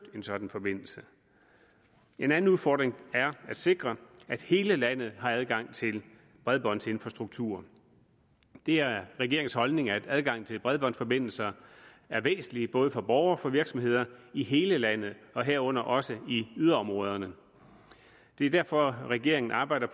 en sådan forbindelse en anden udfordring er at sikre at hele landet har adgang til bredbåndsinfrastruktur det er regeringens holdning at adgangen til bredbåndsforbindelser er væsentlig både for borgere og for virksomheder i hele landet herunder også i yderområderne det er derfor at regeringen arbejder